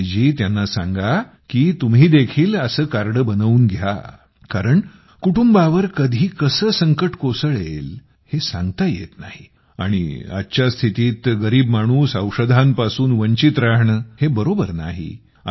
आणि त्यांना सांगा की तुम्ही देखील असं कार्ड बनवून घ्या कारण कुटुंबावर कधी कसे संकट कोसळेल सांगता येत नाही आणि आजच्या स्थितीत गरीब माणूस औषधांपासून वंचित राहणे हे बरोबर नाही